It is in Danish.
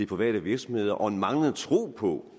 private virksomheder og en manglende tro på